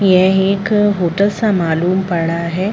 यह एक होटल सा मालूम पड़ रहा है।